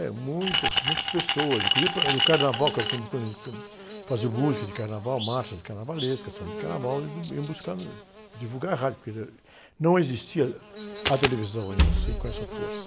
É, muitas, muitas pessoas, inclusive para, era, o carnaval, é que era quando, quando a gente, faziam música de carnaval, marchas de carnavalesca, samba de carnaval, eles iam buscar, divulgar em rádio, porque, não existia a televisão ainda assim com essa força.